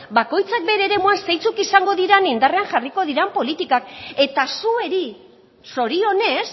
bakoitzak bere eremuan zeintzuk izango diren indarrean jarriko diren politika eta zuei zorionez